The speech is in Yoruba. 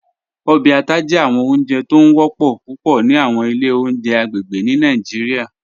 Ọbẹ àtà jẹ awọn ọ̀njẹ̀ tó ń wọ̀pọ̀ púpọ̀ ni awọn ilẹ̀ ọ̀njẹ̀ agbegbe ni Nigeria